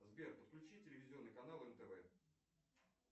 сбер подключи телевизионный канал нтв